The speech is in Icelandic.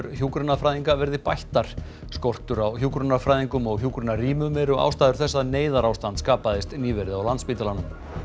hjúkrunarfræðinga verði bættar skortur á hjúkrunarfræðingum og hjúkrunarrýmum eru ástæður þess að neyðarástand skapaðist nýverið á Landspítalanum